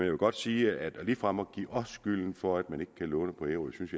vil godt sige at ligefrem at give os skylden for at man ikke kan låne på ærø synes